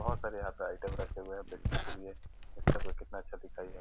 बहुत सारे यहाँ पर आइटम रखी हुए हैं बेचने के लिए लगता है कोई कितना अच्छा है।